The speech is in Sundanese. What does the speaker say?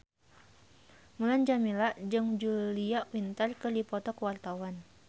Mulan Jameela jeung Julia Winter keur dipoto ku wartawan